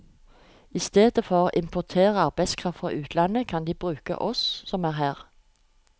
I stedet for å importere arbeidskraft fra utlandet, kan de bruke oss som er her.